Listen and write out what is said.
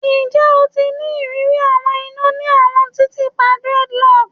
Njẹ o ti ni iriri awọn ina ni awọn titiipa dreadlocks?